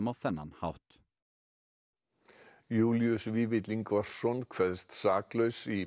á þennan hátt Júlíus Vífill Ingvarsson kveðst saklaus í